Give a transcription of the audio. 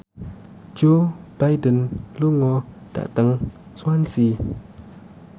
Joe Biden lunga dhateng Swansea